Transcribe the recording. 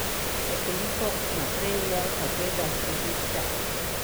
Nekoliko naprej je zagledal križišče.